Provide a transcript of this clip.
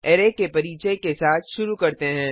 array के परिचय के साथ शुरू करते हैं